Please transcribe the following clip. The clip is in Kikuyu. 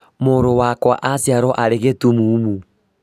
Mũrũ wakwa aciarwo arĩ gĩtumumu